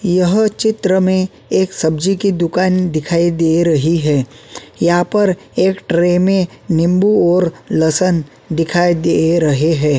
यह चित्र में एक सब्जी की दुकान दिखाई दे रही है यहाँ पर एक ट्रे में नींबू और लसन दिखाई दे रहें हैं।